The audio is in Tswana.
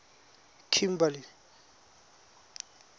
kimberley